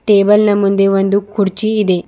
Table ನ ಮುಂದೆ ಒಂದು ಕುರ್ಚಿ ಇದೆ.